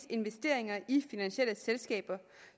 investeringer i finansielle selskaber